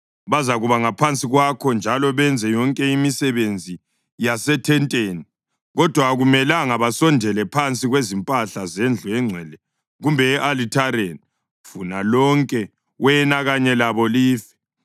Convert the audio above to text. Bazakuba ngaphansi kwakho njalo benze yonke imisebenzi yasethenteni, kodwa akumelanga basondele phansi kwezimpahla zendlu engcwele kumbe e-alithareni, funa lonke, wena kanye labo life.